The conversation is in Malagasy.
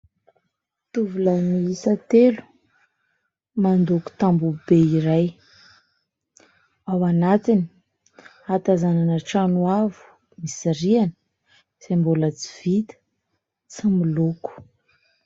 Tovolahy miisa telo mandoko tamboho be iray : ao anatiny ahatazanana trano avo, misy rihana izay mbola tsy vita, tsy miloko.